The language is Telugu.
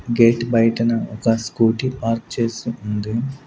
గేట్ బైటన ఒక స్కూటీ పార్క్ చేసి ఉంది.